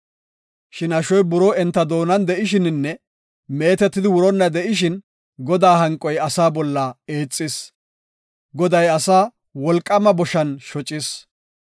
Shin ashoy buroo enta doonan de7ishininne meetetidi wuronna de7ishin, Godaa hanqoy asaa bolla eexis; Goday asaa wolqaama boshan shocis.